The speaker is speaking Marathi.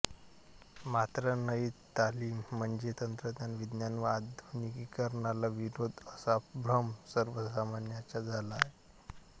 मात्र नयी तालीम म्हणजे तंत्रज्ञान विज्ञान व आधुनिकीकरणाला विरोध असा भ्रम सर्वसामान्यांचा झाला होता